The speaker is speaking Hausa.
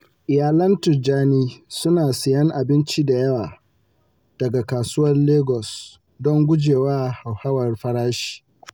Iyalan Tijjani suna siyan abinci da yawa daga Kasuwar Lagos don gujewa hauhawar farashi.